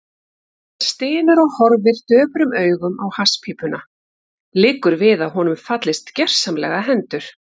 Hann stynur og horfir döprum augum á hasspípuna, liggur við að honum fallist gersamlega hendur.